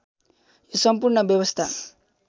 यो सम्पूर्ण व्यवस्था